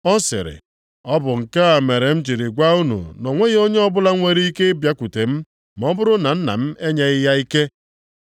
Ọ sịrị, “Ọ bụ nke a mere m jiri gwa unu na o nweghị onye ọbụla nwere ike ịbịakwute m ma ọ bụrụ na Nna m enyeghị ya ike.”